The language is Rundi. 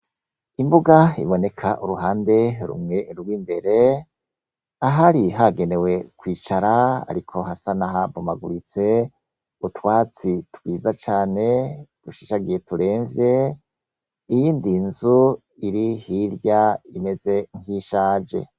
Imbuga iboneka uruhande rumwe rw'imbere, ahari hagenewe kwicara ariko hasa n'ahabomaguritse. Utwatsi twiza cane dushishagiye turemve. Iyindi nzu iri hirya imeze nk'iyishaje.